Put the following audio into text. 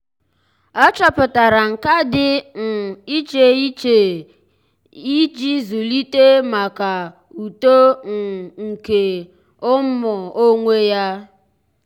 ọ́ chọ́pụ̀tárà nkà dị́ um iche iche iche iche íjí zụ́líté màkà uto um nke um onwe ya.